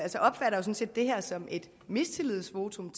sådan set det her som et mistillidsvotum